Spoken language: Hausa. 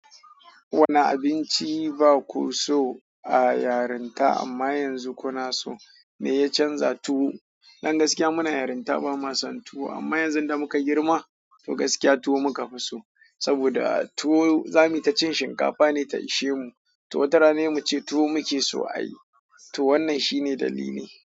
Wani abinci ba ku so a yarinta amma yanzu kuna so me ya canza tuwo? Dan gaskiya muna yarinta ba mu son tuwo amma yanzu da muka girma toh gaskiya tuwo muka fi so saboda tuwo zamuta cin shinkafa ne ta ishe mu. To wata rana he muce tuwo muke so a yi. To wannan shine dalili na.